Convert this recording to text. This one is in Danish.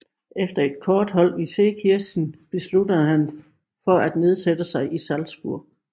Efter et kort ophold i Seekirchen besluttede han for at nedsætte sig i Salzburg